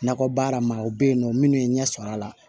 Nakɔ baara ma o bɛ yen nɔ minnu ye ɲɛ sɔrɔ a la